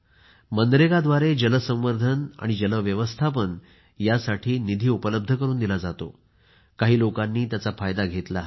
मनरेगाद्वारे जलसंवर्धन आणि जल व्यवस्थापन यासाठी निधी उपलब्ध करून दिला जातो काही लोकांनी त्याचा फायदा घेतला आहे